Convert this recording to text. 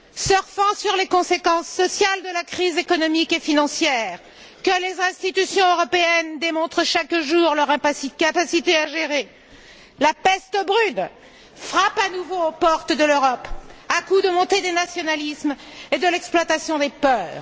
Surfant sur les conséquences sociales de la crise économique et financière, que les institutions européennes démontrent chaque jour leur incapacité à gérer, la peste brune frappe à nouveau aux portes de l'Europe, à coups de montée des nationalismes et d'exploitation des peurs!